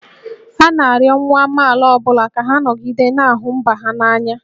A na-arịọ nwa amaala ọ bụla ka ha nọgide na-ahụ mba ha n'anya